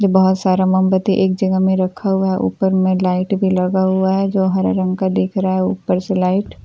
बहुत सारा मोमबत्ती एक जगह में रखा हुआ है ऊपर में लाइट भी लगा हुआ है जो हरे रंग का दिख रहा है ऊपर से लाइट --